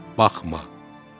Baxma.